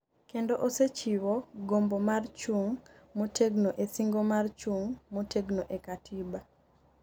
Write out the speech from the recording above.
kendo osechiwo gombo mar chung' motegno e singo mar chung' motegno e katiba